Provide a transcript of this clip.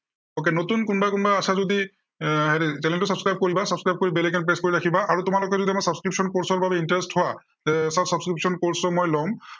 okay নতুন কোনোবা কোনোবা আছা যদি এৰ হেৰি channel টো subscribe কৰিবা। subscribe কৰি bell icon press কৰি ৰাখিবা আৰু তোমালোকে যদি আমাৰ subscription course ৰ বাবে interested হোৱা, তে sir, subscription course টো মই লম।